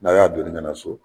Na y'a donni kana so.